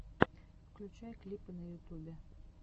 включай клипы в ютубе